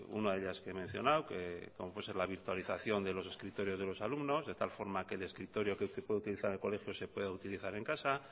una de ellas que he mencionado que como puede ser la virtualización de los escritorios de los alumnos de tal forma que el escritorio que se puede utilizar en el colegio se puede utilizar en casa